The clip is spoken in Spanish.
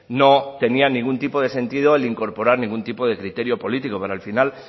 no tenía ningún tipo de sentido el incorporar ningún tipo de criterio político pero al final